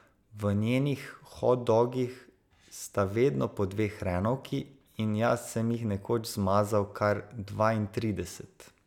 V njenih hot dogih sta vedno po dve hrenovki in jaz sem jih nekoč zmazal kar dvaintrideset!